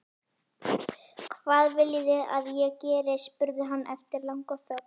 Hvað viljiði að ég geri? spurði hann eftir langa þögn.